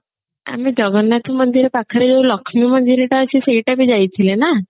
ଆମେ ଜଗନ୍ନାଥ ମନ୍ଦିର ପାଖରେ ଯୋଉ ଲକ୍ଷ୍ମୀ ମନ୍ଦିର ଟା ଅଛି ସେଇଟା ବି ଯାଇଥିଲେ ନା